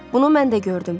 Bunu mən də gördüm.